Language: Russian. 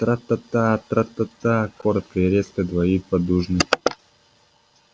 тра-та тра-та коротко и резко двоит поддужный